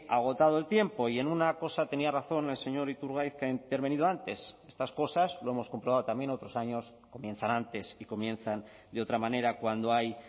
agotado el tiempo y en una cosa tenía razón el señor iturgaiz que ha intervenido antes estas cosas lo hemos comprobado también otros años comienzan antes y comienzan de otra manera cuando hay